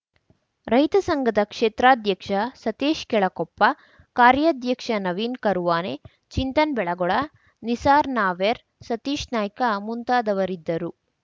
ರೈತ ಸಂಘದ ಕ್ಷೇತ್ರಾಧ್ಯಕ್ಷ ಸತೀಶ್‌ ಕೆಳಕೊಪ್ಪ ಕಾರ್ಯಾಧ್ಯಕ್ಷ ನವೀನ್‌ ಕರುವಾನೆ ಚಿಂತನ್‌ ಬೆಳಗೊಳ ನಿಸಾರ್‌ ನಾರ್ವೆ ಸತೀಶ್‌ ನಾಯ್ಕ ಮುಂತಾದವರಿದ್ದರು